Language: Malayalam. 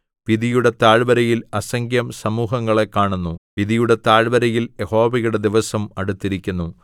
വിധിയുടെ താഴ്വരയിൽ അസംഖ്യം സമൂഹങ്ങളെ കാണുന്നു വിധിയുടെ താഴ്വരയിൽ യഹോവയുടെ ദിവസം അടുത്തിരിക്കുന്നു